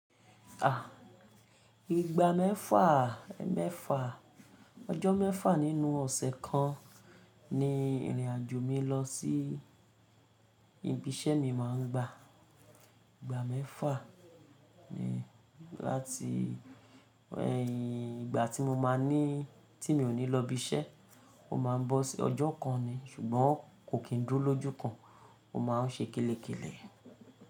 À, ìgbà mẹ́fà, ẹmẹ́fà, ọjọ́ mẹ́fà nínú ọ̀sẹ̀ kan ni ìrìn àjò mi lọ sí ibi iṣẹ́ mi máa ń gba. Ìgbà mẹ́fà ni láti ẹ̀yin ìgbà tí mo máa ní tí mi ò ní lọ́ ibi iṣẹ́, ó máa ń bọ́ si ọjọ́ kan ni ṣùgbọ́n kò kí ń dúró lójú kan, ó máa ń ṣe kélekèlé.